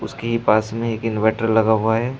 उसके ही पास में एक इनवर्टर लगा हुआ है।